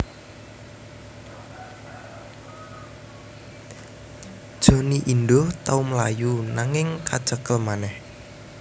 Johnny Indo tau mlayu nanging kacekel manèh